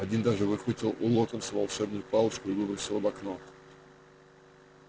один даже выхватил у локонса волшебную палочку и выбросил в окно